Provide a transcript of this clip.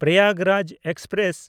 Prayagraj express